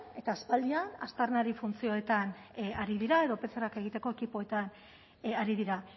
eta aspaldian aztarnari funtzioetan ari dira edo pcr egiteko ekipoetan ari dira